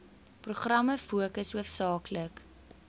programme fokus hoofsaaklik